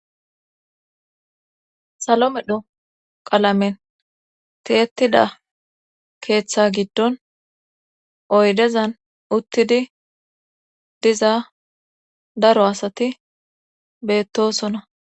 salo medho qalamen tiyettida keeththa giddon oydezan uttidi diza daro asati beettosona